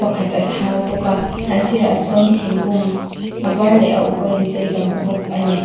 pakhat a thau bawk a a sirah sawn thinkung a var leh a uk a inchei kan hmu bawk a ni.